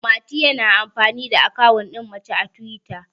mati yana amfani da akawun din mace a twita